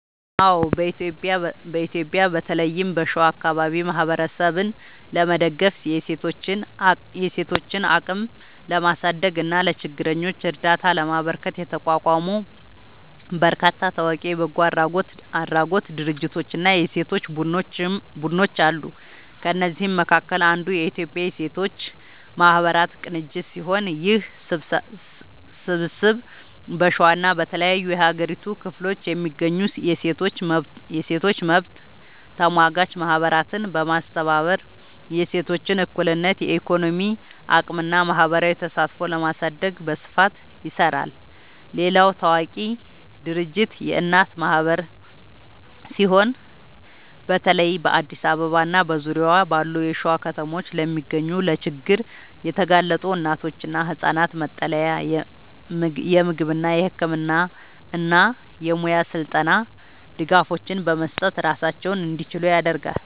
አዎ፣ በኢትዮጵያ በተለይም በሸዋ አካባቢ ማህበረሰብን ለመደገፍ፣ የሴቶችን አቅም ለማሳደግ እና ለችግረኞች እርዳታ ለማበርከት የተቋቋሙ በርካታ ታዋቂ የበጎ አድራጎት ድርጅቶችና የሴቶች ቡድኖች አሉ። ከእነዚህም መካከል አንዱ የኢትዮጵያ ሴቶች ማህበራት ቅንጅት ሲሆን፣ ይህ ስብስብ በሸዋና በተለያዩ የሀገሪቱ ክፍሎች የሚገኙ የሴቶች መብት ተሟጋች ማህበራትን በማስተባበር የሴቶችን እኩልነት፣ የኢኮኖሚ አቅምና ማህበራዊ ተሳትፎ ለማሳደግ በስፋት ይሰራል። ሌላው ታዋቂ ድርጅት የእናት ማህበር ሲሆን፣ በተለይ በአዲስ አበባና በዙሪያዋ ባሉ የሸዋ ከተሞች ለሚገኙ ለችግር የተጋለጡ እናቶችና ህጻናት መጠለያ፣ የምግብ፣ የህክምና እና የሙያ ስልጠና ድጋፎችን በመስጠት ራሳቸውን እንዲችሉ ያደርጋል።